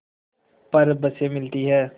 पर बसें मिलती हैं